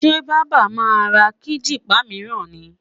Sẹ́ baba máa ra kíjìpá mìíràn ni?